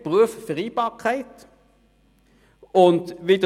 Es betrifft auch die Vereinbarkeit von Familie und Beruf.